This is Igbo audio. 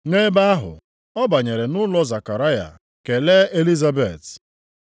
Nʼebe ahụ, ọ banyere nʼụlọ Zekaraya, kelee Elizabet.